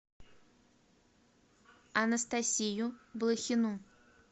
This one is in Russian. анастасию блохину